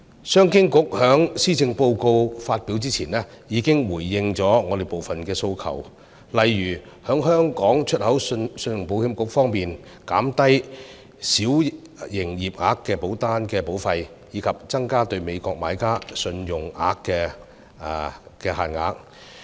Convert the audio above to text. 商務及經濟發展局在施政報告發表前已回應我們的部分訴求，例如香港出口信用保險局降低小營業額保單的保費，以及增加美國買家信用限額。